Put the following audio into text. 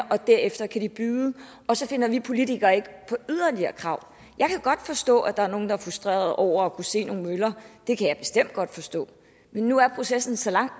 og derefter kan de byde og så finder vi politikere ikke på yderligere krav jeg kan godt forstå at der er nogle der er frustrerede over at kunne se nogle møller det kan jeg bestemt godt forstå men nu er processen så langt